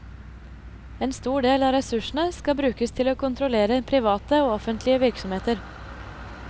En stor del av ressursene skal brukes til å kontrollere private og offentlige virksomheter.